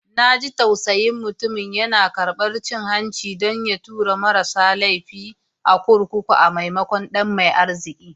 Na ji tausayin mutumin, yana karbar cin hanci don ya tura marasa laifi a kurkuku maimakon ɗan mai arziki.